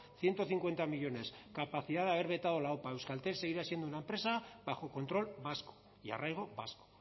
ciento cincuenta millónes capacidad de haber vetado la opa euskaltel seguirá siendo una empresa bajo control vasco y arraigo vasco